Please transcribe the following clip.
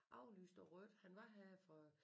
Aflyst og rykket han var her fra